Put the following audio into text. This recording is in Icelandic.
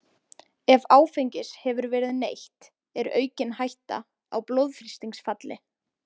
Ef áfengis hefur verið neytt er aukin hætta á blóðþrýstingsfalli.